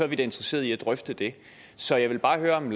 vi da interesseret i at drøfte det så jeg vil bare høre om